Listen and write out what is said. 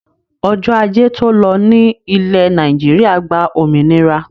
Ọjọ́ ajé to lọ ní ilẹ́ Nàìjíríà gba òmìnira.